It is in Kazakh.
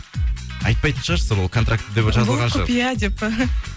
айтпайтын шығарсыздар да ол контрактіде жазылған шығар бұл құпия деп